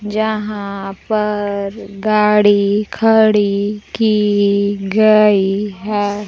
जहां पर गाड़ी खड़ी की गई है।